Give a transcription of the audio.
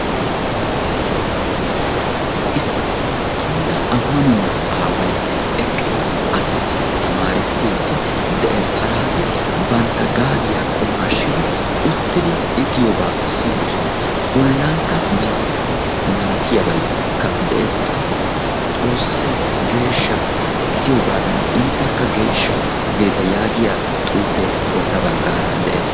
Issi cimmida maanuwaa aaway eqqidi asaassi tamaarissiidi de'ees. harati bantta gaabiyaa qumaashshidi uttidi i giyoobaa siyoosona. bollankka masqqale malatiyaabaykka de'ees. qassi xoossay geeshsha gidiyoogadan intekka geeshsha gidite yaagiyaa xuufee bolla baggaara de'ees.